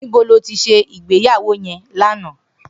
Nibó ló ti sé igbéyàwó yèn làná?